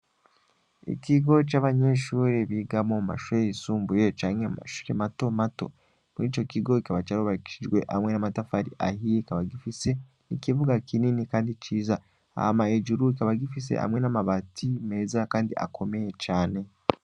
Ikigo c'abanyeshure biga mu mashure yisumbuye canke mu mashure mato mato. Muri ico kigo kikaba carubakishijwe amwe n'amatafari ahiye kikaba gifise, ikibuga kinini kandi ciza. Hama hejuru kikaba gifise amwe n'amabati meza kandi akomeye cane.